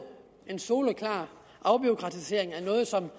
en soleklar afbureaukratisering af noget som